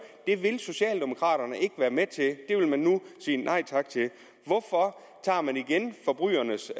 vil socialdemokraterne ikke være med til det vil man nu sige nej tak til hvorfor tager man igen forbrydernes og